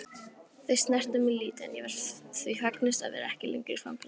Þau snertu mig lítið en ég var því fegnust að vera ekki lengur í fangelsi.